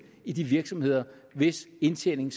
i de virksomheder hvis indtjening